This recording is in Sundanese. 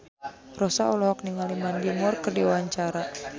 Rossa olohok ningali Mandy Moore keur diwawancara